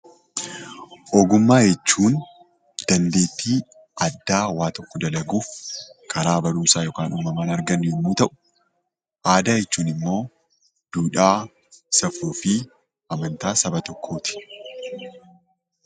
Ogummaa jechuun dandeettii addaa waa dalaguuf karaa barumsaa yookaan uumamaa argannu yemmuu ta'u, aadaan ammoo duudhaa, safuufi amantaa saba tokkooti.